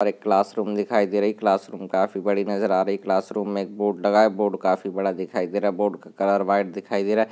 और एक क्लासरूम दिखाई दे रही क्लासरूम काफी बड़ी नज़र आ रही क्लासरूम मे एक बोर्ड लगा है बोर्ड काफी बड़ा दिखाई दे रहा बोर्ड बोर्ड का कलर व्हाइट दिखाई दे रहा।